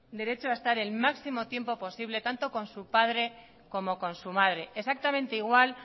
derecho a estar el máximo tiempo posible tanto con su padre como con su madre exactamente igual